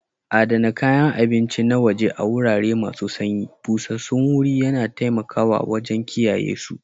Adana kayan abinci na waje a wurare masu sanyi, busassun wuri yana taimakawa wajen kiyayesu.